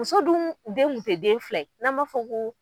Muso dun den ŋun te den fila ye n'an b'a fɔ ko